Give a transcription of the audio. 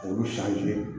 Olu san joon